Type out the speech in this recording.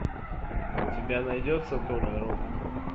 у тебя найдется толя робот